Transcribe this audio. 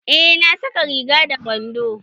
Eh na saka rigan da wandon